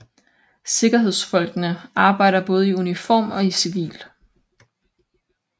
Sikkerhedsfolkene arbejder både i uniform og i civil